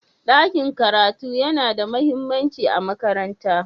ɗakin karatu yana da mahimmanci a makaranta